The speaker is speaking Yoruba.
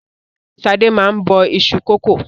Ṣadé máa ń bọ iṣu kòkó